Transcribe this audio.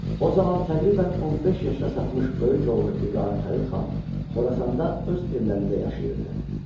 O zaman təqribən 15 yaşına çatmış böyük oğlu İbrahim Xəlil xan Xorasanda öz evlərində yaşayırdı.